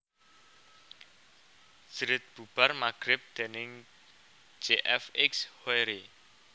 Jerit bubar magrib déning J F X Hoery